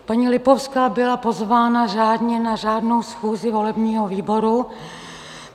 Paní Lipovská byla pozvána řádně na řádnou schůzi volebního výboru.